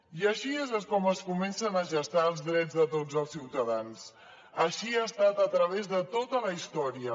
i així és com es comencen a gestar els drets de tots els ciutadans així ha estat a través de tota la història